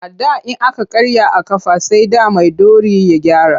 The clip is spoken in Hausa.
A da in aka karya a ƙafa sai da maiɗori ya gyara.